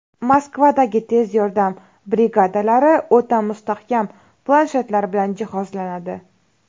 Moskvadagi tez yordam brigadalari o‘ta mustahkam planshetlar bilan jihozlanadi.